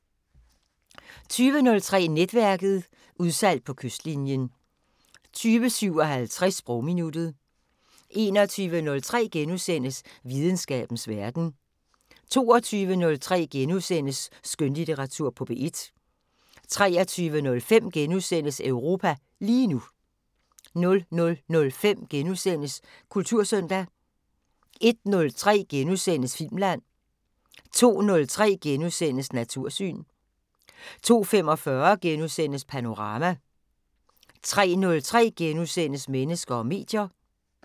20:03: Netværket: Udsalg på kystlinjen 20:57: Sprogminuttet 21:03: Videnskabens Verden * 22:03: Skønlitteratur på P1 * 23:05: Europa lige nu * 00:05: Kultursøndag * 01:03: Filmland * 02:03: Natursyn * 02:45: Panorama * 03:03: Mennesker og medier *